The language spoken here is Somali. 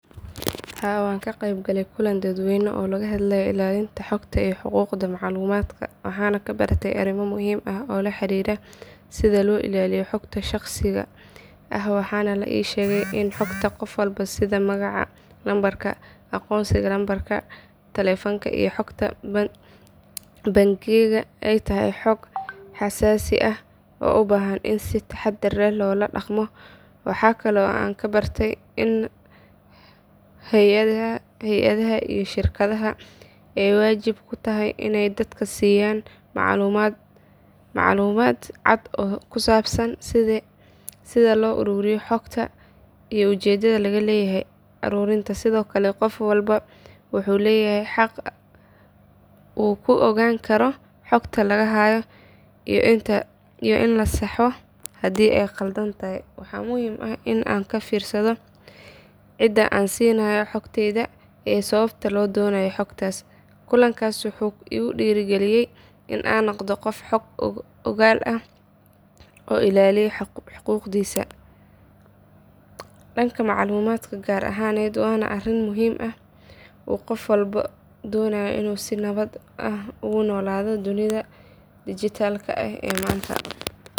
Haa wan kagebgalay kulan dadweyne oo lagahadlaye ilalinta huquqda maclumadka, waxana kabarte ariimo muxiim ah oo laharira sidha loilaiyo ah waxana laishegay in hogta gofwalbo sida magaca numbarka agonnsiga numbarka talephonka hogta bangiyada ay tahay hoog hasasi ah oo ubahan in si tahadar leh ladagmo, waxa kale oo an kabartay in hayadaha iyo shirkadaha ay wajiib kutahay inay dadka siyaan maclumad cad oo kusabsan sidhi loaruriyo hogta iyo ijedaha lagaleyahay arurinka, sidhokale gofwalba wuxu leyahay haag u kuogaan karoo hogta lagahayo iyo in lasahao hadhii ay qaldantahay waxa muxiim ah in cidaa an sinayo hogteyda iyo sawabta lodonayo hogta, kulankas wuxu igu diragaliyey in aan nogdo gof hoog ogaal ah, oo ilaliya hugugdisa, dadka maclumadka gaar ahaned wana ariin muxiim ah uu gofwalbo dobayo ini si nawad ah ogunawad ogunolado dunida digital ee manta.